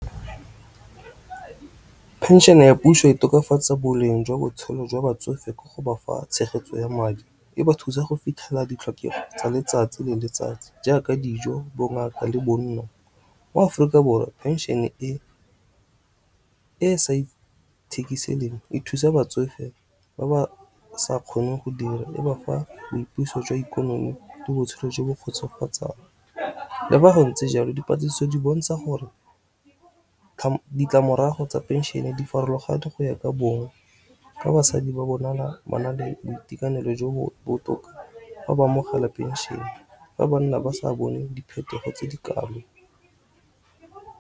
Pension ya puso e tokafatsa boleng jwa botshelo jwa batsofe ka go bafa tshegetso ya madi. E ba thusa go fitlhela ditlhokego tsa letsatsi le letsatsi jaaka dijo bo ngaka le bonno. Mo Aforika Borwa pension e sa e thusa batsofe ba ba sa kgoneng go dira e ba fa boipuso jwa ikonomi le botshelo jo bo kgotsofatsang. Le fa go ntse jalo dipatlisiso di bontsha gore ditlamorago tsa pension di farologane go ya ka bong, ka basadi ba bonala ba na le boitekanelo jo bo botoka fa ba amogela pension fa banna ba sa bone diphetogo tse di kalo.